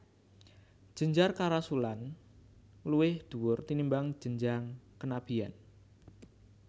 Jenjang kerasulan luwih dhuwur tinimbang jenjang kenabian